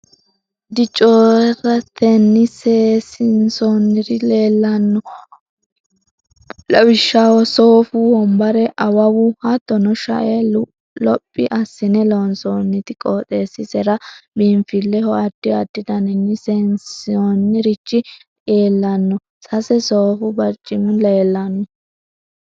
Dicooretenni seesiinsoonniri leellanno. Lawishshaho soofu wombare, awawu, hattono shae lophi assine loonsoonniti, qooxeessisera biinfilleho addi addi daninni seesiinsoonnirichi lrellanno. Sase soofu barcimi leellanno.